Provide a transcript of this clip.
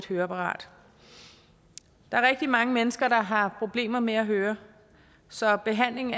høreapparat der er rigtig mange mennesker der har problemer med at høre så behandling